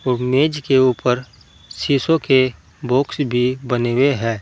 और मेज के ऊपर शीशों के बॉक्स भी बने हुए है।